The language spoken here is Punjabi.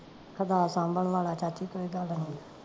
ਸਬਾਂਹ ਸਾਂਬਣ ਵਾਲਾ ਚਾਚੀ ਕੋਈ ਤੁਹਾਡਾ ਹੋਵੇ